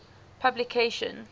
publication